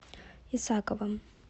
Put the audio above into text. исаковым